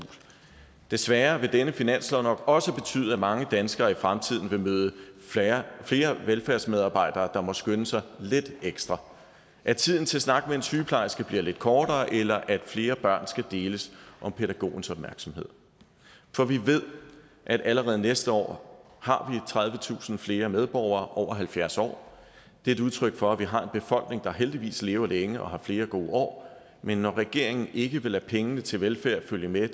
desværre vil denne finanslov nok også betyde at mange danskere i fremtiden vil møde flere velfærdsmedarbejdere der må skynde sig lidt ekstra at tiden til at snakke med en sygeplejerske bliver lidt kortere eller at flere børn skal deles om pædagogens opmærksomhed for vi ved at allerede næste år har tredivetusind flere medborgere over halvfjerds år det er et udtryk for at vi har en befolkning der heldigvis lever længe og har flere gode år men når regeringen ikke vil lade pengene til velfærd følge med